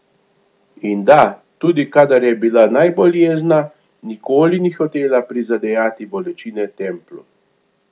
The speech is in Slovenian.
In da, tudi kadar je bila najbolj jezna, nikoli ni hotela prizadejati bolečine Templu.